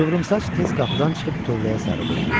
Qıvrımsaç tez qapıdan çıxıb tövləyə sarı götürüldü.